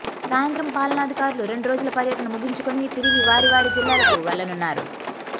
సాయంత్రం పాలనాధికారులు రెండు రోజుల పర్యటన ముగించుకొని తిరిగి వారివారి జిల్లాలకు వెళ్లనున్నారు